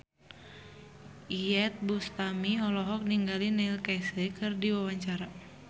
Iyeth Bustami olohok ningali Neil Casey keur diwawancara